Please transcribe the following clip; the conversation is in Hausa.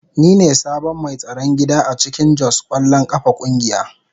Ni ne sabon mai tsaron gida a cikin Jos kwallon kafa kungiya.